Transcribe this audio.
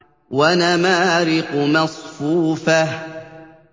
وَنَمَارِقُ مَصْفُوفَةٌ